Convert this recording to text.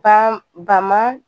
Ba ba ma